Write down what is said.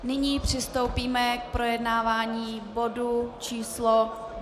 Nyní přistoupíme k projednávání bodu číslo